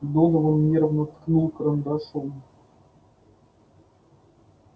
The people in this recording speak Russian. донован нервно ткнул карандашом